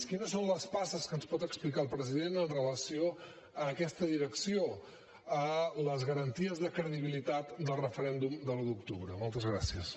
quines són les passes que ens pot explicar el president amb relació a aquesta direcció a les garanties de credibilitat del referèndum de l’un d’octubre moltes gràcies